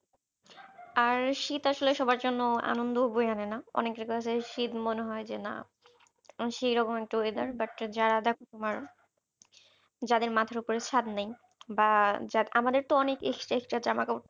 আর শীত আসলে সবার জন্য আনন্দ ও বয়ে আনে না অনেকের কাছে শীত মনে হয় যে না সেরকম একটা weather but যারা দেখো তোমার যাদের মাথার ওপরে ছাদ নেই বা যার আমাদের তো অনেক ex extra জামাকাপড়